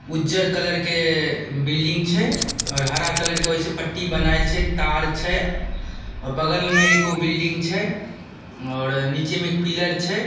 उज्जर कलर के बिल्डिंग छै और हरा कलर के ओय से पट्टी बनाएल छै तार छै और बगल में एगो बिल्डिंग छै और नीचे में एक पिलर छै।